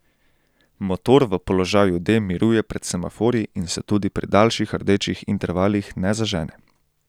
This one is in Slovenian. Motor v položaju D miruje pred semaforji in se tudi pri daljših rdečih intervalih ne zažene.